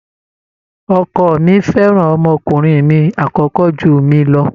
Ọkọ mi fẹ́ràn ọmọkùnrin mi àkọ́kọ́ jù mí lọ.